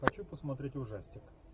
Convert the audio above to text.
хочу посмотреть ужастик